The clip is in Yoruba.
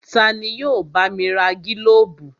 Tani yóò bá mi ra gílóbù?